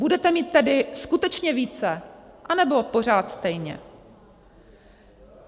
Budete mít tedy skutečně více, anebo pořád stejně?